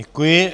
Děkuji.